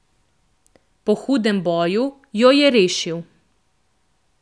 Po hudem boju jo je rešil.